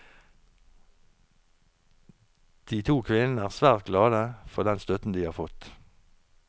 De to kvinnene er svært glad for den støtten de har fått.